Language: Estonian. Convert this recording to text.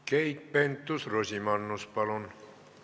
Keit Pentus-Rosimannus, palun!